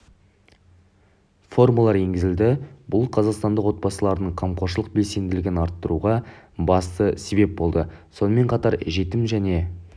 формалар енгізілді бұл қазақстандық отбасылардың қамқоршылық белсенділігін арттыруға басты себеп болды сонымен қатар жетім және